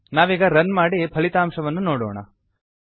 ನಾವೀಗ ರನ್ ಮಾಡಿ ಫಲಿತಾಂಶವನ್ನು ನೋಡೋಣ